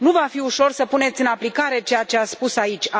Nu va fi ușor să puneți în aplicare ceea ce ați spus aici.